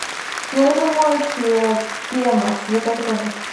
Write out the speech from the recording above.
мне нужен моющее пемос закажи пожалуйста